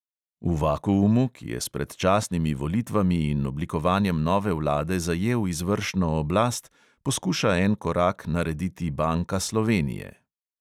V vakuumu, ki je s predčasnimi volitvami in oblikovanjem nove vlade zajel izvršno oblast, poskuša en korak narediti banka slovenije.